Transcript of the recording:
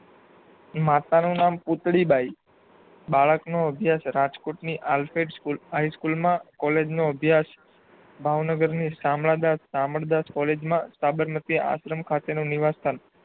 માતાનું નામ પૂતળી બાઈ બાળકનો અભયાસ રાજકોટ ની આર્કેડ સ્કૂલમાં અને સ્કૂલમાં કોલેજનો અભ્યાસ ભાવનગરની શામળદાસ શામળદાસ કોલેજમાં સાબરમતી આશ્રમ ખાતે નો નિવાસ સ્થાન